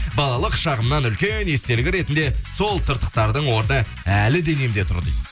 балалық шағымнан үлкен естелік ретінде сол тыртықтардың орны әлі денемде тұр дейді